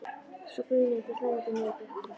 Svo brunuðu þær hlæjandi niður brekkuna.